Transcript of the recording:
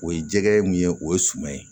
O ye jɛgɛ ye mun ye o ye suma ye